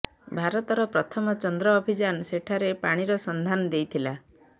ଭାରତର ପ୍ରଥମ ଚନ୍ଦ୍ର ଅଭିଯାନ ସେଠାରେ ପାଣିର ସନ୍ଧାନ ଦେଇଥିଲା